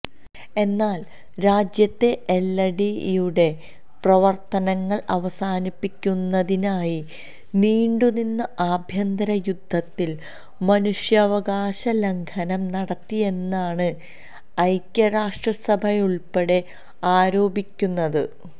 എന്നാല് രാജ്യത്തെ എല്ടിടിഇയുടെ പ്രവര്ത്തനങ്ങള് അവസാനിപ്പിക്കുന്നതിനായി നീണ്ടുനിന്ന ആഭ്യന്തരയുദ്ധത്തില് മനുഷ്യാവകാശലംഘനം നടത്തിയെന്നാണ് ഐക്യരാഷ്ട്രസഭയുള്പ്പെടെ ആരോപിക്കുന്നത്